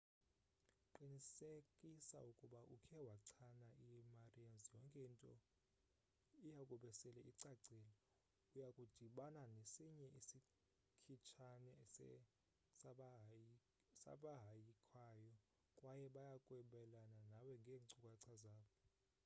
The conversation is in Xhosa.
qinsekisa ukuba ukhe wachana i-marians yonke into iyakube sele icacile uyakudibana nesinye isikhitshane sabahayikhayo kwaye bayakwabelana nawe ngeenkcukacha zabo